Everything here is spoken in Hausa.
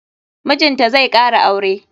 Mijinta zai kara aure.